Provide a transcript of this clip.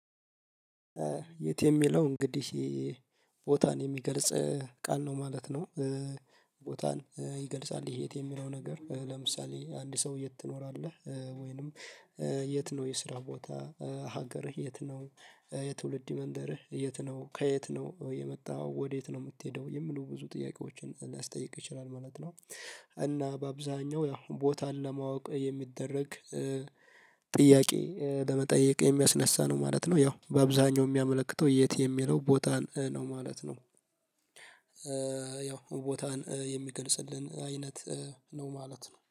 የት የሚለው እንግዲህ ቦታን የሚገልጽ ቃል ነው ማለት ነው። ቦታን ይገልጻል የት የሚለው ነገር። ለምሳሌ አንድ ሰው የት ትኖራለህ? ወይንም የት ነው የስራ ቦታህ? ሀገርህ የት ነው? የትውልድ መንደርህ የት ነው? ከየት ነው የመጣሀው? ወደየት ነው የምትሄደው? የሚሉ ብዙ ጥያቄዎችን ሊያስጠይቅ ይችላል ማለት ነው። እና በአብዛኛው ያው ቦታን ለማወቅ የሚደረግ ጥያቄ ለመጠየቅ የሚያስነሳ ነው ማለት ነው። ያው በአብዛኛው የሚያመለክተው የት የሚለው ቦታን ነው ማለት ነው። ያው ቦታን የሚገልጽልን አይነት ነው ማለት ነው።